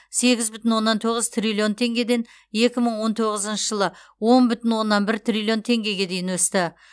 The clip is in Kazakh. сегіз бүтін оннан тоғыз триллион теңгеден екі мың он тоғызыншы жылы он бүтін оннан бір триллион теңгеге дейін өсті